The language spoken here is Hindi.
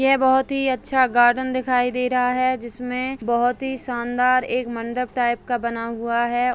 ये बहोत ही अच्छा गार्डन दिखाई दे रहा है जिसमे बोहोत ही शानदार एक मंडप टाइप का बना हुआ है।